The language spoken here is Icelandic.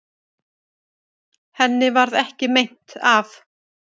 Henni varð ekki meint af.